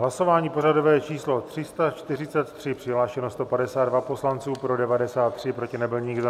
Hlasování pořadové číslo 343, přihlášeno 152 poslanců, pro 93, proti nebyl nikdo.